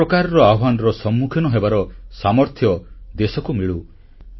ସବୁ ପ୍ରକାରର ଆହ୍ୱାନର ସମ୍ମୁଖୀନ ହେବାର ସାମର୍ଥ୍ୟ ଦେଶକୁ ମିଳୁ